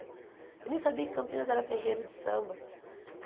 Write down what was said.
Eu nem sabia que Campinas era terreiro de samba.